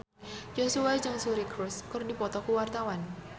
Joshua jeung Suri Cruise keur dipoto ku wartawan